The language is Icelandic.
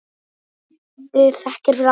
Hafðu þakkir fyrir allt.